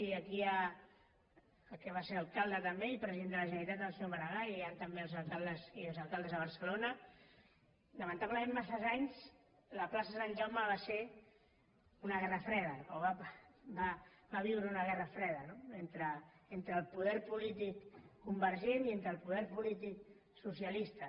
i aquí hi ha el que va ser alcalde també i president de la generalitat el senyor maragall i hi han també els alcaldes i exalcaldes de barcelona lamentablement massa anys la plaça sant jaume va ser una guerra freda o va viure una guerra freda entre el poder polític convergent i entre el poder polític socialista